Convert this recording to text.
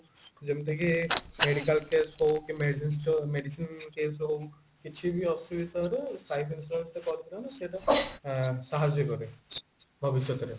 ଯେମତି କି medical case ହଉ କି medicine store medicine case ହଉ କିଛି ବି ଅସୁବିଧାରେ life insurance ଟା କରିଦେଲେ ମାନେ ସେଇଟା ସାହାଜ୍ଯ କରେ ଭବିଷ୍ୟତରେ